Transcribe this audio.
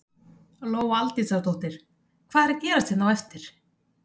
Lóa Aldísardóttir: Hvað er að gerast hérna á eftir?